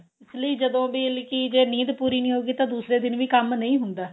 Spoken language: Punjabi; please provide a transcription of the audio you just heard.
ਇਸ ਲਈ ਜਦੋਂ ਵੀ ਜੇ ਨੀਂਦ ਪੂਰੀ ਨੀ ਹੋਏਗੀ ਤਾਂ ਦੂਸਰੇ ਦਿਨ ਵੀ ਕੰਮ ਨਹੀਂ ਹੁੰਦਾ